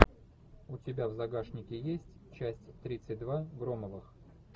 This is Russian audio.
у тебя в загашнике есть часть тридцать два громовых